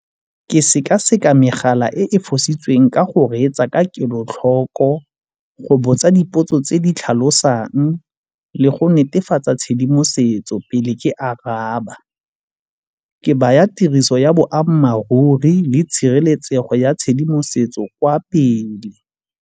Ke sekaseka megala e e fositsweng ka go reetsa ka kelotlhoko, go botsa dipotso tse di tlhalosang le go netefatsa tshedimosetso pele ke araba. Ke baya tiriso ya boammaaruri le tshireletsego ya tshedimosetso kwa pele.